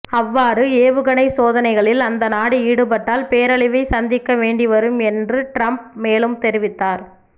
அவ்வாறு ஏவுகணைச் சோதனைகளில் அந்தநாடு ஈடுபட்டால் பேரழிவைச் சந்திக்க வேண்டிவரும் என்று ட்ரம்ப் மேலும் தெரிவித்தார்